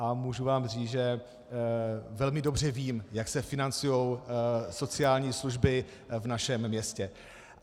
A můžu vám říct, že velmi dobře vím, jak se financují sociální služby v našem městě.